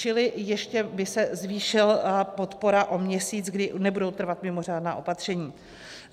Čili ještě by se zvýšila podpora o měsíc, kdy nebudou trvat mimořádná opatření.